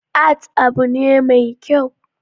Art abu ne mai kyau